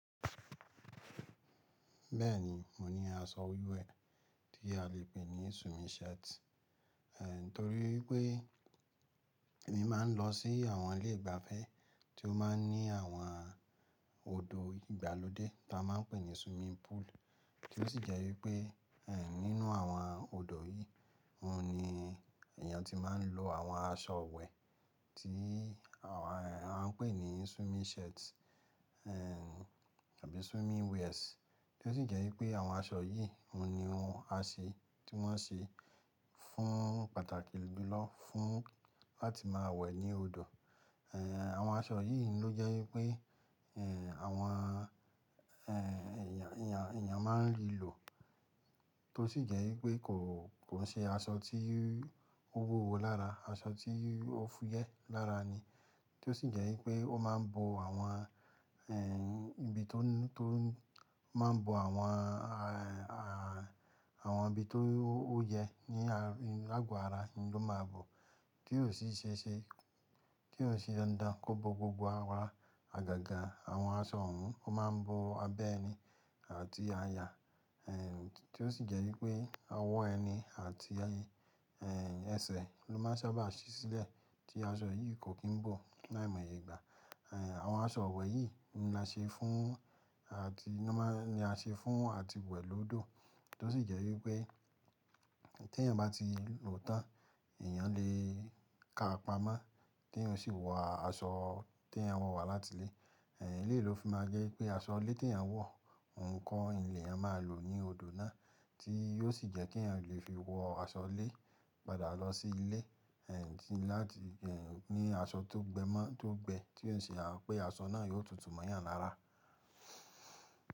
Bẹ́ẹ̀ni, mo ní aṣọ wíwẹ̀ tí a lè pè ní swimming shirt. Eh, torí pé èmi máa ń lọ sí àwọn ilé ìgbafẹ́ tí ó máa ń ní àwọn odò ìgbàlódé tí a máa ń pè ní swimming pool, tí ó sì jẹ́ wípé, ẹ́ nínú àwọn odò yìí, òun ni èèyàn tí máa ń lò àwọn aṣọ iwẹ̀ tí àwọn, ẹ́ a ń pè ní swimming shirt, ẹ́ àbí swimming wears. Bẹ́ẹ̀ni, mo ní aṣọ wíwẹ̀ tí a lè pè ní swimming shirt. Eh, àwọn aṣọ ni o jẹ pé eh àwọn eh èèyàn èèyàn má ń rí lò tí ó sì jẹ́ wípé kò, kò ṣe aṣọ tí ó wúwo lára, aṣọ tí ó fúyẹ́ lára ni. Tí ó sì jẹ́ wípé ó máa ń bò àwọn, ẹ́ ibi tó, tó máa ń bò àwọn, a, a àwọn ibi tó ó yẹ ní à, lágo ara ló máa bọ̀, tí yóò sì ṣe ẹ́ ṣe, tí yóò ṣe dandan kó bò gbogbo àwọ ara àgàgà àwọn aṣọ òun. Ó máa ń bò abẹ́ ẹni àti aya, ẹ́ tí ó sì jẹ́ wípé ọwọ́ ẹni àti ẹ́ ẹsẹ̀ ló máa sábà ṣí sílẹ̀ tí aṣọ yìí kò kí n bò láìmọye ìgbà. Ẹ̀, àwọn aṣọ iwẹ̀ yìí ni a ṣe fún àti ni a má, ni a ṣe fún àti wẹ̀ lọ́dọ̀. Tí ó sì jẹ́ wípé tí èèyàn bá ti lòó tán, èèyàn lè ka pamọ́, tí èèyàn sì wọ aṣọ tí èèyàn wọ̀ wá láti ilé. Ẹ̀, e leyi ló fi máa jẹ́ pé aṣọ ilé tí èèyàn wọ̀, òun ko ni èèyàn máa lò ní odò náà, tí yóò sì jẹ́ kí èèyàn lè fi wọ aṣọ ilé padà lọ sí ilé, ẹ́ láti, ẹ́ ní aṣọ tó gbẹ mọ́, tó gbẹ. Tí ó sì ṣe à pé aṣọ náà yóò tutù mọ́ ìyàn lára.